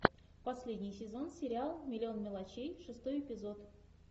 последний сезон сериала миллион мелочей шестой эпизод